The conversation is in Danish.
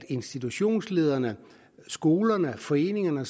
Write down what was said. institutionsledere skoler foreninger